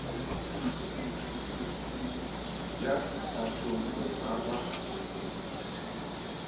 ya sethathong ho ka ba